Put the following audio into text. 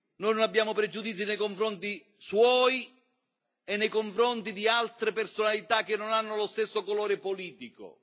Noi non abbiamo pregiudizi nei confronti suoi e nei confronti di altre personalità che non hanno lo stesso colore politico.